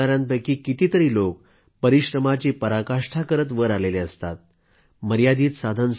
आता सन्मान मिळवणायांपैकी अनेक लोक परिश्रमाची पराकाष्ठा करीत या जमिनीतून वर आलेले असतात